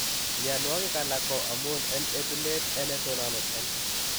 Mianwagik alak ko amun en etunet ne tononat en